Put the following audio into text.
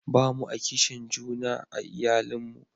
ba mu a kishin juna a iyalin mu